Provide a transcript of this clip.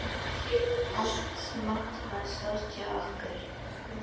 Allt smátt varð stórt hjá okkur.